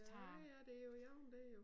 Ja ja det jo i orden dér jo